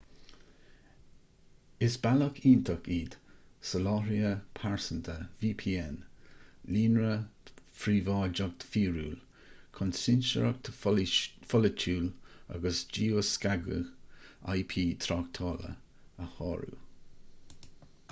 is bealach iontach iad soláthraithe pearsanta vpn líonra príobháideach fíorúil chun cinsireacht pholaitiúil agus geoscagadh ip tráchtála a shárú